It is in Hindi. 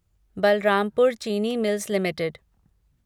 Balrampur Chini mills limited